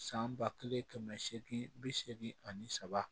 San ba kelen kɛmɛ seegin bi seegin ani saba